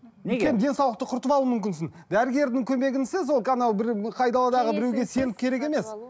денсаулықты құртып алу мүмкінсің дәрігердің көмегінсіз ол анау бір айдаладағы біреуге сеніп керек емес